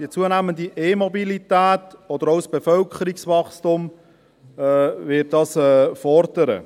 Die zunehmende E-Mobilität oder auch das Bevölkerungswachstum werden dies fordern.